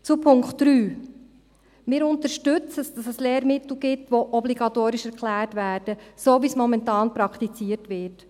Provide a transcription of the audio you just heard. Zum Punkt 3: Wir unterstützen es, dass es Lehrmittel gibt, die als obligatorisch erklärt werden – so, wie es momentan praktiziert wird.